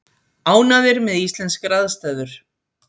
Ánægðir með íslenskar aðstæður